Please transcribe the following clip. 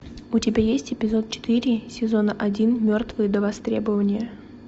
у тебя есть эпизод четыре сезона один мертвые до востребования